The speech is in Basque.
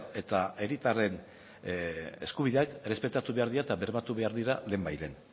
eta herritarren eskubideak errespetatu behar dira eta bermatu behar dira lehenbailehen